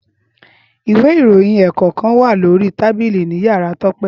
ìwé ìròyìn ẹ́ẹ́kọ̀kan wa lori tabili ni yárá Tope.